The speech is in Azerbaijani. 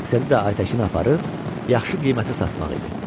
Məqsədi də Aytəkin aparıb yaxşı qiymətə satmaq idi.